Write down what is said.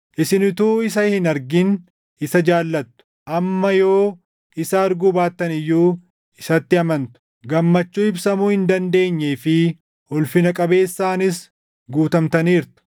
Isin utuu isa hin argin isa jaallattu; amma yoo isa arguu baattan iyyuu isatti amantu; gammachuu ibsamuu hin dandeenyee fi ulfina qabeessaanis guutamtaniirtu;